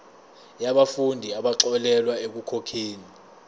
yabafundi abaxolelwa ekukhokheni